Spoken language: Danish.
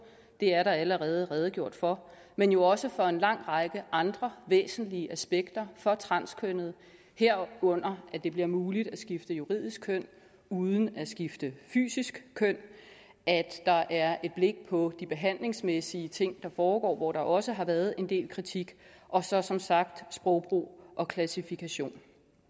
det er der allerede redegjort for men jo også for en lang række andre væsentlige aspekter for transkønnede herunder at det bliver muligt at skifte juridisk køn uden at skifte fysisk køn at der er et blik på de behandlingsmæssige ting der foregår hvor der også har været en del kritik og så som sagt sprogbrug og klassifikation